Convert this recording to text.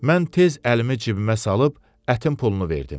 Mən tez əlimi cibimə salıb ətin pulunu verdim.